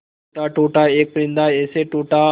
टूटा टूटा एक परिंदा ऐसे टूटा